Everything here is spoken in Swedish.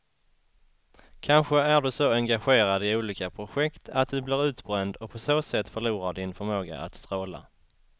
Kanske är du så engagerad i olika projekt att du blir utbränd och på så sätt förlorar din förmåga att stråla.